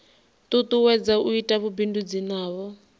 tutuwedza u ita vhubindudzi navho